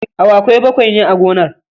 Awakai bakwai ne a gonar.